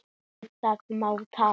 Undir það má taka.